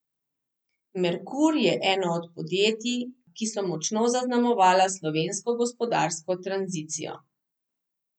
Merkur je eno od podjetij, ki so močno zaznamovala slovensko gospodarsko tranzicijo.